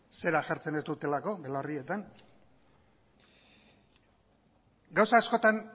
zera jartzen ez dutelako belarrietan gauza askotan